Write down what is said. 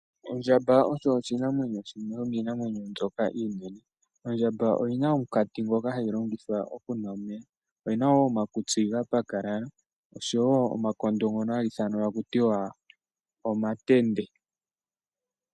Ondjamba oyo oshinamwenyo shimwe shomiinamwenyo mbyoka iinene. Ondjamba oyina omunkati ngoka hayi longitha okunwa omeya, oyina woo omakutsi ga pakalala, oshowo omakondo ngono haga ithanwa taku tiwa Omatende.